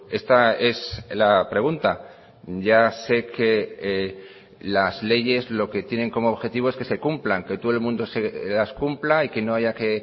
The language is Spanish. esta es la pregunta ya sé que las leyes lo que tienen como objetivo es que se cumplan que todo el mundo las cumpla y que no haya que